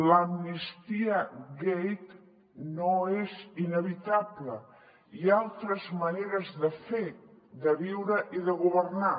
l’ amnistiagate no és inevitable hi ha altres maneres de fer de viure i de governar